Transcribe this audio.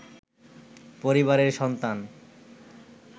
পরিবারের সন্তান